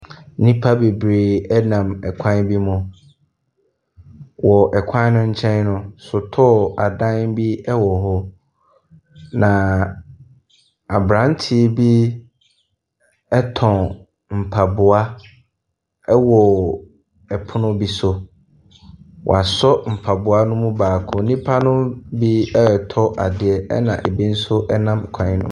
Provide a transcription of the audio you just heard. Nnipa bebree nam kwan bi mu. Wɔ kwan no nkyɛn no nkyɛn no, sotɔɔ adan bi wowɔ hɔ, na aberanteɛ bi tɔn mpaboa wɔ pono bi so. Wasɔ mpaboa no mu baako, nnipa no bi retɔ adeɛ, ɛnna ebi nso nam kwan no .